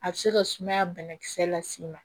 A bɛ se ka sumaya banakisɛ las'i ma